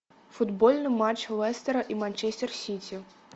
футбольный матч лестера и манчестер сити